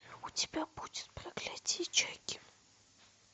у тебя будет проклятие чаки